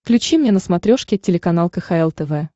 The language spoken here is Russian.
включи мне на смотрешке телеканал кхл тв